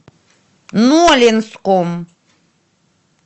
нолинском